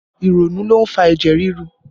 Ìrònú ló ń fa ẹ̀jẹ̀ ríru